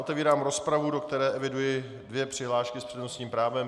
Otevírám rozpravu, do které eviduji dvě přihlášky s přednostním právem.